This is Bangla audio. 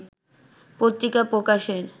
পত্রিকা প্রকাশের